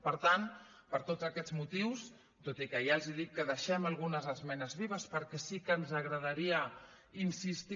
per tant per tots aquests motius tot i que ja els dic que deixem algunes esmenes vives perquè sí que ens agradaria insistir